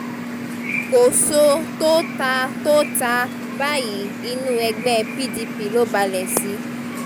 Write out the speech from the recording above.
kòso tó ta tó ta báyìí inú ẹgbẹ́ pdp ló balẹ̀ sí